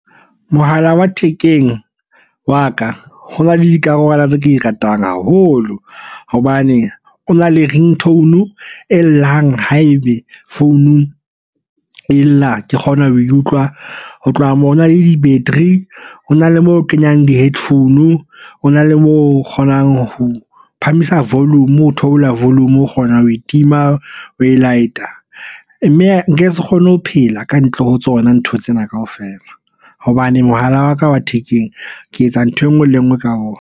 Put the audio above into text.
Mohala wa thekeng wa ka ho na le dikarolwana tse ke di ratang haholo. Hobane o na le ringtone e llang ha ebe founung e lla, ke kgona ho e utlwa. Ho tloha moo ho na le di-battery, ho na le moo kenyang di-headphone, ho na le moo kgonang ho phahamisa volume, o theola volume. O kgona ho e tima, oe light-a. Mme nke se kgone ho phela ka ntle ho tsona ntho tsena kaofela hobane mohala wa ka wa thekeng ke etsa nthwe enngwe le enngwe ka ona.